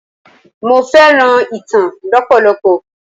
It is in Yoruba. Mo fẹ́ràn ìtàn lọpọlọpọ.